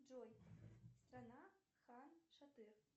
джой страна хан шатыр